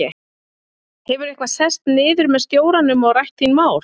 Hefurðu eitthvað sest niður með stjóranum og rætt þín mál?